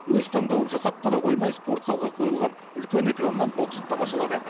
өз таңдауын жасап қана қоймай спорт залға қойылған үлкен экраннан боксты тамашалады